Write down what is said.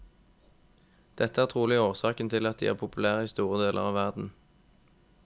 Dette er trolig årsaken til at de er populære i store deler av verden.